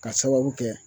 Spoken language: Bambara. Ka sababu kɛ